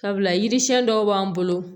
Sabula yiri siɲɛn dɔw b'an bolo